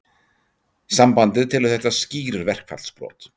Sambandið telur þetta skýr verkfallsbrot